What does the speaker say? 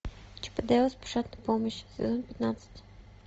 чип и дейл спешат на помощь сезон пятнадцать